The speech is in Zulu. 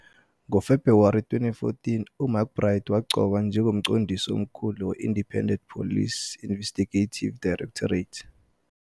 NgoFebruwari 2014 uMcBride waqokwa njengoMqondisi Omkhulu we- Independent Police Investigative Directorate.